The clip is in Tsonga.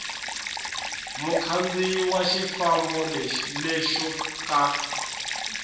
mukhandziyi wa xifambo lexo ka